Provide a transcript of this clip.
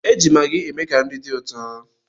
E ji magị eme ka nri dị ụtọ.